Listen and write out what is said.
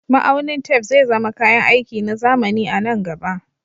Ma'aunin tef zai zama kayan aiki na zamani a nan gaba